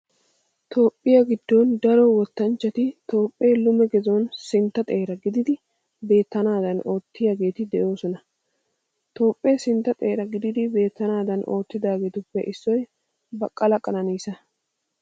Toophphiyaa giddon daro wottanchchati Toophphee lume gizon sintta xeera gididi beettanaadan oottidaageeti de'oosona. Toophphee sintta xeera gididi beettanaadan oottidaageetuppe issoy Baqala Qananniisa.